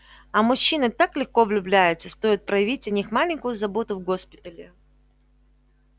а мужчины так легко влюбляются стоит проявить о них маленькую заботу в госпитале